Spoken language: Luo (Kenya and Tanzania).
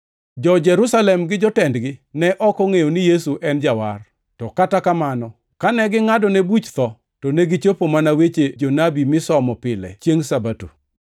Jo-Jerusalem gi jotendgi ne ok ongʼeyo ni Yesu e Jawar, to kata kamano, kane gingʼadone buch tho, to negichopo mana weche jonabi misomo pile chiengʼ Sabato.